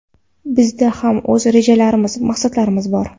Bizda ham o‘z rejalarimiz, maqsadlarimiz bor.